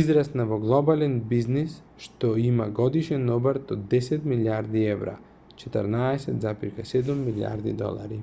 израсна во глобален бизнис што има годишен обрт од 10 милијарди евра 14.7 милијарди долари